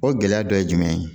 O gɛlɛya dɔ ye jumɛn ye